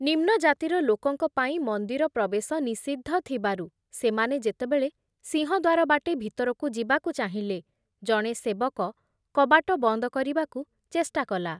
ନିମ୍ନଜାତିର ଲୋକଙ୍କ ପାଇଁ ମନ୍ଦିର ପ୍ରବେଶ ନିଷିଦ୍ଧ ଥିବାରୁ ସେମାନେ ଯେତେବେଳେ ସିଂହଦ୍ୱାର ବାଟେ ଭିତରକୁ ଯିବାକୁ ଚାହିଁଲେ, ଜଣେ ସେବକ କବାଟ ବନ୍ଦ କରିବାକୁ ଚେଷ୍ଟା କଲା ।